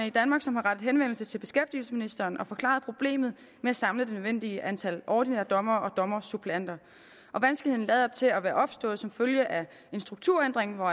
i danmark som har rettet henvendelse til beskæftigelsesministeren og forklaret problemet med at samle det nødvendige antal ordinære dommere og dommersuppleanter og vanskeligheden lader til at være opstået som følge af en strukturændring hvor